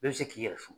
Bɛɛ bɛ se k'i yɛrɛ fo